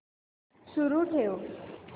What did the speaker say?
सुरू ठेव